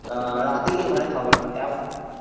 আ রাতে গিয়ে ঘরে খাবার খাই এ